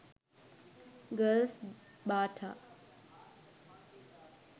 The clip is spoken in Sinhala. girls bata